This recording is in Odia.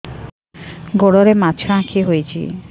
ଗୋଡ଼ରେ ମାଛଆଖି ହୋଇଛି